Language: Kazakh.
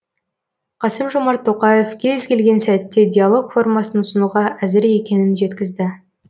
қасым жомарт тоқаев кез келген сәтте диалог формасын ұсынуға әзір екенін жеткізді